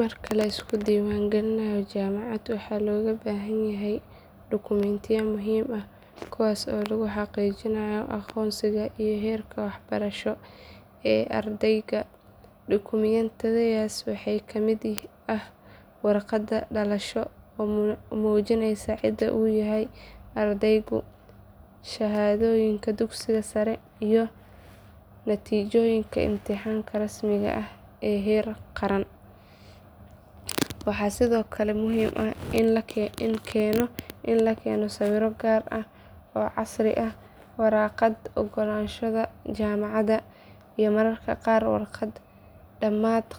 Marka la isku diiwaangalinayo jaamacad waxaa looga baahan yahay dukumiintiyo muhiim ah kuwaas oo lagu xaqiijinayo aqoonsiga iyo heerka waxbarasho ee ardayga. Dukumiintiyadaas waxaa ka mid ah warqadda dhalashada oo muujinaysa cida uu yahay ardaygu, shahaadooyinka dugsiga sare iyo natiijooyinkii imtixaanka rasmiga ahaa ee heer qaran. Waxaa sidoo kale muhiim ah in la keeno sawirro gaar ah oo casri ah, waraaqda oggolaanshaha jaamacadda, iyo mararka qaar warqad damaanad